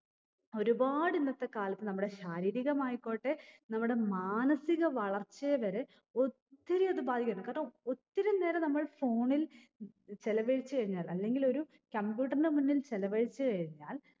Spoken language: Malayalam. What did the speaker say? ഒരുപാട് ഇന്നത്തെ കാലത്ത് നമ്മടെ ശാരീരികമായിക്കോട്ടെ നമ്മടെ മാനസിക വളർച്ചയെ വരെ ഒത്തിരി അത് ബാധിക്കുന്നു കാരണം ഒത്തിരി നേരം നമ്മൾ phone ൽ ചിലവഴിച്ചു കഴിഞ്ഞാൽ അല്ലെങ്കിൽ ഒരു computer ന്റെ മുന്നിൽ ചിലവഴിച്ചു കഴിഞ്ഞാൽ